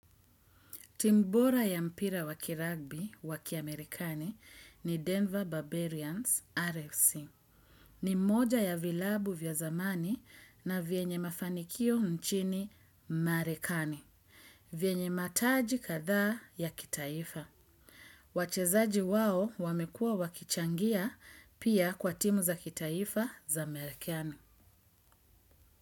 Timu bora ya mpira waki ragbi wakiamerikani ni Denver Barbarians RFC. Ni moja ya vilabu vya zamani na vyenye mafanikio nchini marekani. Vyenye mataji kadhaa ya kitaifa. Wachezaji wao wamekua wakichangia pia kwa timu za kitaifa za amerikani.